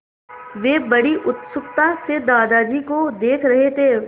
वे बड़ी उत्सुकता से दादाजी को देख रहे थे